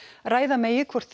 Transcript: ræða megi hvort